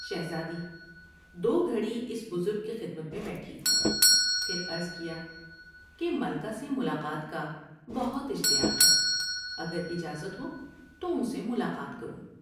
شهزادی دو گھڑی اس بزرگ کی خدمت میں بیٹھی ، پھر عرض کیا کہ ملکہ سے ملاقات کا بہت اشتیاق ہے اگر اجازت ہو تو ان سے ملاقات کروں ۔